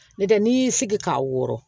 N tɛ n'i y'i sigi k'a wɔrɔn